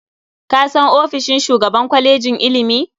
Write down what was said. Ka san ofishin shugaban kwalejin ilimi?